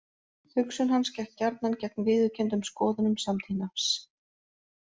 Hugsun hans gekk gjarnan gegn viðurkenndum skoðunum samtímans.